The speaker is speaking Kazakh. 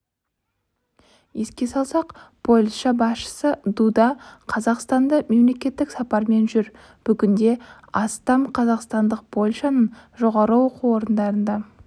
еске салсақ польша басшысы дуда қазақстанда мемлекеттік сапармен жүр бүгінде астам қазақстандық польшаның жоғары оқу орындарында